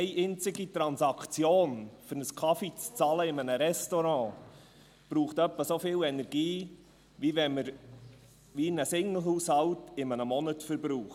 Eine einzige Transaktion, um einen Kaffee zu bezahlen in einem Restaurant, verbraucht etwa so viel Energie, wie ein Singlehaushalt in einem Monat verbraucht.